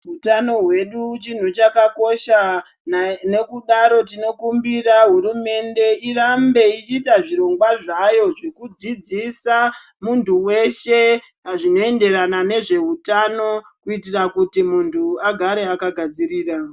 Hutano hwedu huchakakosha, nekudaro tinokumbira hurumende irambe ichita zvirongwa zvayo zvokudzidzisa muntu weshe zvinoenderana nezvehutano kuitira kuti muntu agare akagadzirira.